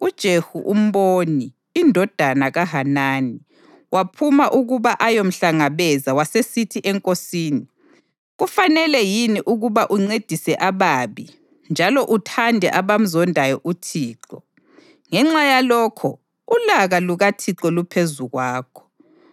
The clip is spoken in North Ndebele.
uJehu umboni, indodana kaHanani, waphuma ukuba ayomhlangabeza wasesithi enkosini, “Kufanele yini ukuba uncedise ababi njalo uthande abamzondayo uThixo? Ngenxa yalokho, ulaka lukaThixo luphezu kwakho.